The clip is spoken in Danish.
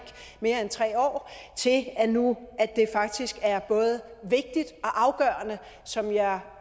mere end tre år til at det nu faktisk er både vigtigt og afgørende som jeg